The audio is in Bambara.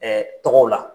tɔgɔw la